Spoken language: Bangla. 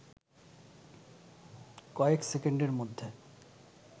কয়েক সেকেন্ডের মধ্যে